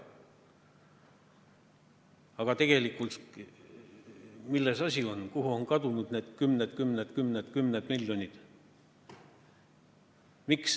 Aga tegelikult, milles on asi, kuhu on kadunud need kümned ja kümned ja kümned miljonid?